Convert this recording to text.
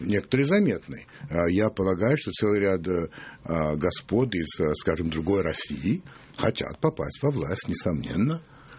некоторые заметны я полагаю что целый ряд аа господ из скажем другой россии хотят попасть во власть несомненно